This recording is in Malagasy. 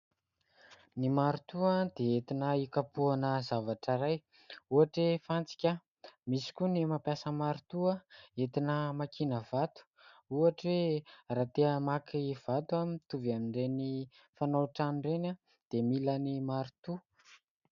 Ny marotoa, dia entina hikapoahana zavatra iray, ohatra hoe fantsika. Misy koa ny mampiasa marotoa entina hamakiana vato. Ohatra hoe raha te hamaky vato mitovy amin'ireny mpanao trano ireny, dia mila marotoa.